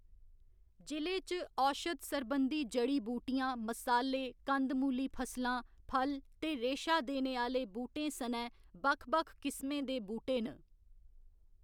जि'ले च औशध सरबंधी जड़ी बूटियां, मसाले, कंद मूली फसलां, फल ते रेशा देने आह्‌‌‌ले बूह्‌‌टें सनै बक्ख बक्ख किस्में दे बूह्‌‌टे न।